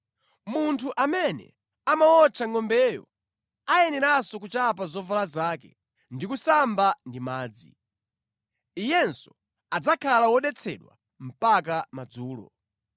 Munthu amene amawotcha ngʼombeyo ayeneranso kuchapa zovala zake ndi kusamba ndi madzi. Iyenso adzakhala wodetsedwa mpaka madzulo.